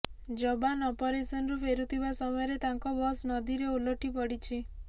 ଯବାନ ଅପରେସନରୁ ଫେରୁଥିବା ସମୟରେ ତାଙ୍କ ବସ ନଦୀରେ ଓଲଟି ପଡିଛି